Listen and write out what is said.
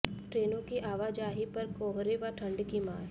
ट्रेनों की आवाजाही पर कोहरे व ठंड की मार